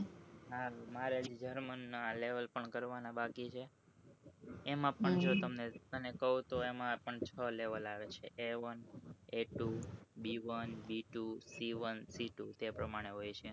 એમાં પણ જો તમ તને કઉ તો એમાં પણ છ level આવે છે B one B two C one C two એ પરમાણે હોય છે